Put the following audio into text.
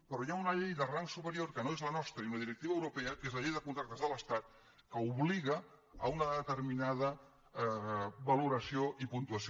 però hi ha una llei de rang superior que no és la nostra i una directiva europea que és la llei de contractes de l’estat que obliga a una determinada valoració i puntuació